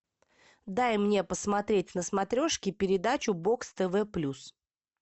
дай мне посмотреть на смотрешке передачу бокс тв плюс